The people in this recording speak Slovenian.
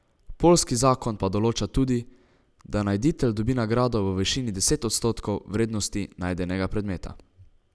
Poljski zakon pa določa tudi, da najditelj dobi nagrado v višini deset odstotkov vrednosti najdenega predmeta.